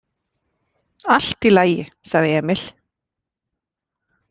Allt í lagi, sagði Emil.